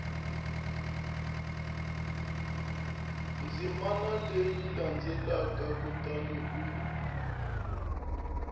ndzimana leyi landzelaka kutani u